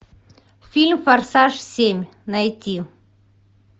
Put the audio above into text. фильм форсаж семь найти